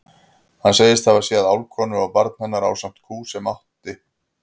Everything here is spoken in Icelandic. Hann segist hafa séð álfkonu og barn hennar ásamt kú sem hún átti.